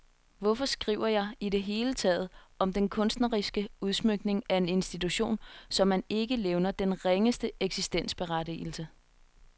Hvorfor skriver jeg i det hele taget om den kunstneriske udsmykning af en institution, som man ikke levner den ringeste eksistensberettigelse?